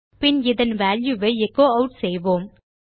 பின் இதன் வால்யூ ஐ echo add செய்வோம்